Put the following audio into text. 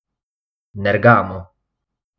Nergamo.